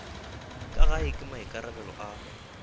ka gae ke maikarabelo a